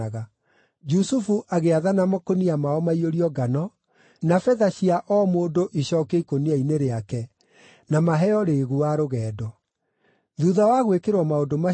Jusufu agĩathana makũnia mao maiyũrio ngano, na betha cia o mũndũ icookio ikũnia-inĩ rĩake, na maheo rĩĩgu wa rũgendo. Thuutha wa gwĩkĩrwo maũndũ macio,